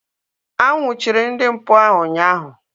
A nnwuchiri ndị mpụ ahu ụnyaahụ